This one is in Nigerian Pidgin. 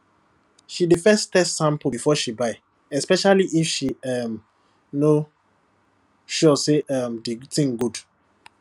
she dey first test sample before she buy especially if she um no sure say um the thing good